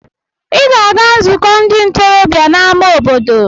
Ị ga-aga nzukọ ndị ntorobịa n'amá obodo!